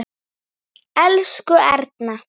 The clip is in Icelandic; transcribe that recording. Elsku Erna.